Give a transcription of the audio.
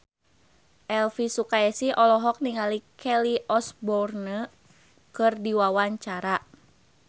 Elvy Sukaesih olohok ningali Kelly Osbourne keur diwawancara